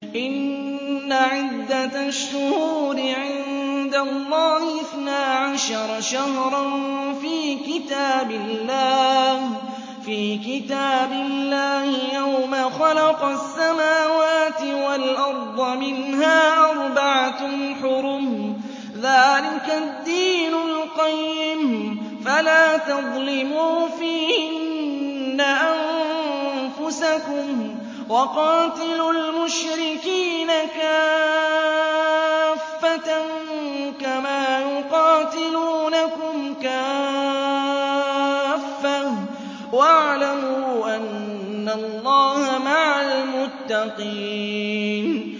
إِنَّ عِدَّةَ الشُّهُورِ عِندَ اللَّهِ اثْنَا عَشَرَ شَهْرًا فِي كِتَابِ اللَّهِ يَوْمَ خَلَقَ السَّمَاوَاتِ وَالْأَرْضَ مِنْهَا أَرْبَعَةٌ حُرُمٌ ۚ ذَٰلِكَ الدِّينُ الْقَيِّمُ ۚ فَلَا تَظْلِمُوا فِيهِنَّ أَنفُسَكُمْ ۚ وَقَاتِلُوا الْمُشْرِكِينَ كَافَّةً كَمَا يُقَاتِلُونَكُمْ كَافَّةً ۚ وَاعْلَمُوا أَنَّ اللَّهَ مَعَ الْمُتَّقِينَ